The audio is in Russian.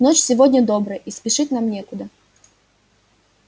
ночь сегодня добрая и спешить нам некуда